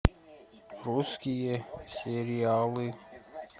русские сериалы